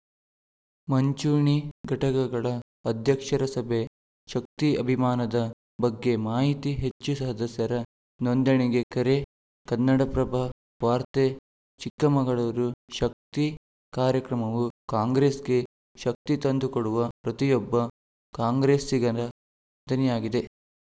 ಮುಂಚೂಣಿ ಘಟಕಗಳ ಅಧ್ಯಕ್ಷರ ಸಭೆ ಶಕ್ತಿ ಅಭಿಯಾನದ ಬಗ್ಗೆ ಮಾಹಿತಿ ಹೆಚ್ಚು ಸದಸ್ಯರ ನೋಂದಣಿಗೆ ಕರೆ ಕನ್ನಡಪ್ರಭ ವಾರ್ತೆ ಚಿಕ್ಕಮಗಳೂರು ಶಕ್ತಿ ಕಾರ್ಯಕ್ರಮವು ಕಾಂಗ್ರೆಸ್‌ಗೆ ಶಕ್ತಿ ತಂದುಕೊಡುವ ಪ್ರತಿಯೊಬ್ಬ ಕಾಂಗ್ರೆಸ್ಸಿಗರ ದನಿಯಾಗಿದೆ